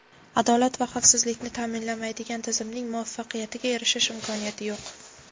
adolat va xavfsizlikni ta’minlamaydigan tizimning muvaffaqiyatga erishish imkoniyati yo‘q.